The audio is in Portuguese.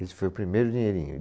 Esse foi o primeiro dinheirinho.